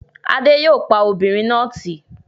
Adé yòó pa obìnrin náà tì